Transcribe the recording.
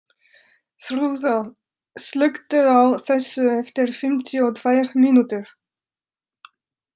Þrúða, slökktu á þessu eftir fimmtíu og tvær mínútur.